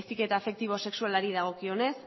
heziketa afektibo sexualari dagokionez